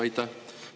Aitäh!